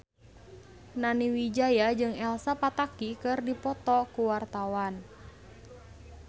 Nani Wijaya jeung Elsa Pataky keur dipoto ku wartawan